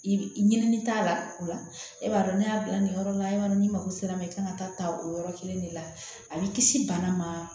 I ɲini t'a la o la e b'a dɔn ne y'a bila nin yɔrɔ la yan nɔ n'i mago sera ma i kan ka taa ta o yɔrɔ kelen de la a b'i kisi bana ma